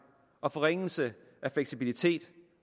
og forringelsen af fleksibilitet